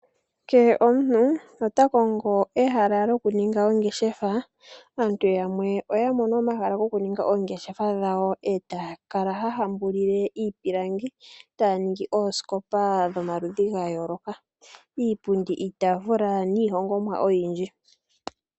Kehe omuntu takongo ehala lyokuninga ongeshefa , aantu yamwe ohaya ningi oongeshefa dhawo etaya kala haya hambulile iipilangi taya ningi oosikopa dhomaludhi gayooloka iipundi, iitaafula niihongomwa oyindji.